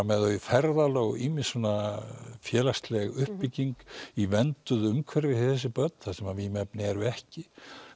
með þau í ferðalög og ýmis svona félagsleg uppbygging í vernduðu umhverfi fyrir þessi börn þar sem vímuefni eru ekki